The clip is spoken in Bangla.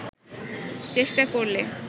চেষ্টা করলে